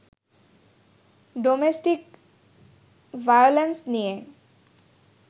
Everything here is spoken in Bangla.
ডোমেস্টিক ভায়োলেন্স নিয়ে